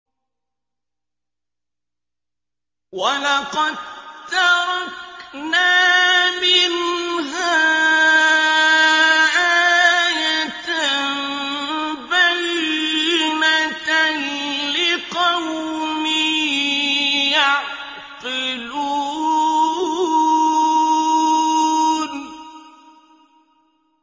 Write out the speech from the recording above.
وَلَقَد تَّرَكْنَا مِنْهَا آيَةً بَيِّنَةً لِّقَوْمٍ يَعْقِلُونَ